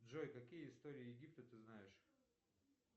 джой какие истории египта ты знаешь